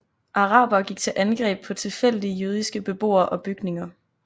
Arabere gik til angreb på tilfældige jødiske beboere og bygninger